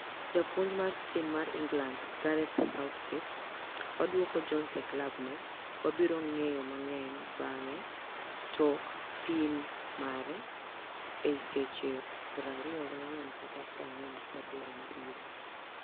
Japuonj mar tim mar England ,Gareth Southgate, " waduoko Jones e klab ne, wabiro ng'eyo mang'eny bang'e tok pim mare ei seche 24 kata 48 mabiro ."